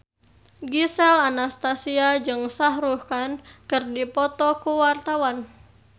Gisel Anastasia jeung Shah Rukh Khan keur dipoto ku wartawan